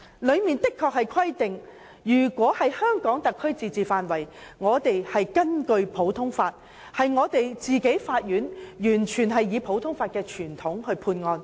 當中確實規定，在香港特區自治範圍內，香港法院可完全根據普通法的傳統審理案件。